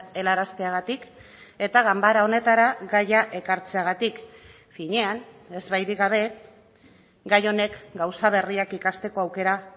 helarazteagatik eta ganbara honetara gaia ekartzeagatik finean ez bairik gabe gai honek gauza berriak ikasteko aukera